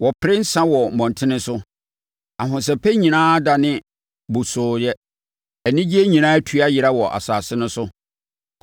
Wɔpere nsã wɔ mmɔntene so; ahosɛpɛ nyinaa adane bosoo yɛ, anigyeɛ nyinaa atu ayera wɔ asase no so.